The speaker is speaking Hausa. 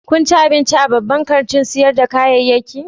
Kun ci abinci a babban kantin sayar da kayayyaki?